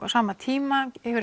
á sama tíma hefur